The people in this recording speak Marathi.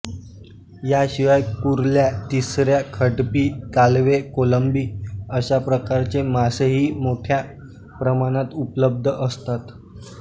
याशिवाय कुरल्या तिसऱ्या खडपी कालवे कोलंबी अशा प्रकारचे मासेही मोठय़ा प्रमाणात उपलब्ध असतात